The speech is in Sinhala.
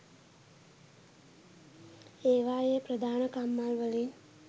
ඒවායේ ප්‍රධාන කම්හල්වලින්